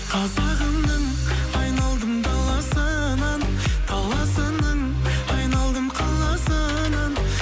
қазағымның айналдым даласынан даласының айналдым қаласынан